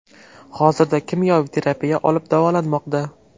Hozirda kimyoviy terapiya olib davolanmoqda.